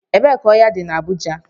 Ebee ka ohia di na Abuja?